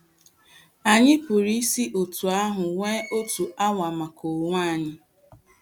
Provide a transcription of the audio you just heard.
Anyị pụrụ isi otú ahụ nwee otu awa maka onwe anyị.